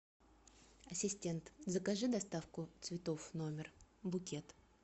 ассистент закажи доставку цветов в номер букет